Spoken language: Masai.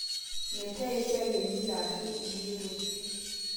metaa esiai emila aashu inkulie tokitin